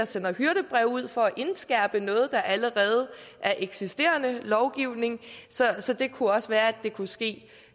sende hyrdebreve ud for at indskærpe noget der allerede er eksisterende lovgivning så så det kunne også være at det kunne ske